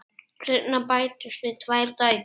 Seinna bættust við tvær dætur.